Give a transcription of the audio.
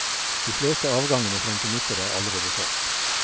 De fleste avgangene frem til nyttår er allerede solgt.